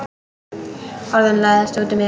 Orðin læðast út úr mér.